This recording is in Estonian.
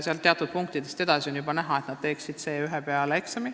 Saavutatud punktidest on see juba näha.